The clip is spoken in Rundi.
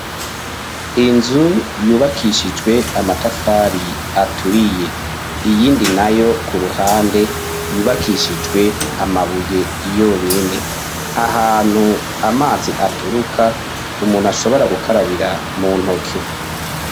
inzu yubakishijwe amatafari aturiye. Iyindi nayo ku ruhande yubakishijwe amabuye yonyine . Ahantu amazi aturuka , umuntu ashobora gukarabira mu ntoke.